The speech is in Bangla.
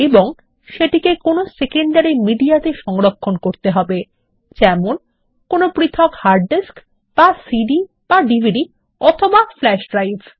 এবং সেটিকে কোনো সেকেন্ডারী মিডিয়াতে সংরক্ষণ করতে হবে যেমন কোনো পৃথক হার্ড ডিস্ক বা সিডি বা ডিভিডি অথবা ফ্ল্যাশ ড্রাইভ